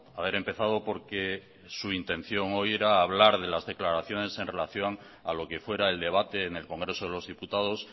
haber empezado por que su intención hoy era hablar de las declaraciones en relación a lo que fuera el debate en el congreso de los diputados